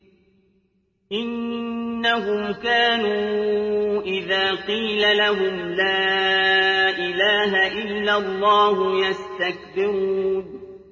إِنَّهُمْ كَانُوا إِذَا قِيلَ لَهُمْ لَا إِلَٰهَ إِلَّا اللَّهُ يَسْتَكْبِرُونَ